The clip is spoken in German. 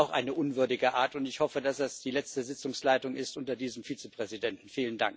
Das ist auch eine unwürdige Art, und ich hoffe, dass es die letzte Sitzungsleitung unter diesem Vizepräsidenten ist.